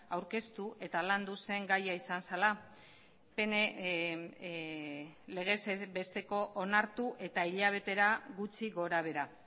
aurkeztu eta landuz zen gaia izan zela legez besteko onartu eta hilabetera gutxi gora behera